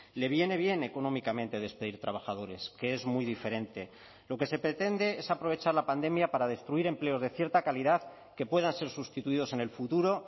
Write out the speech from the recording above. le viene bien económicamente despedir trabajadores que es muy diferente lo que se pretende es aprovechar la pandemia para destruir empleos de cierta calidad que puedan ser sustituidos en el futuro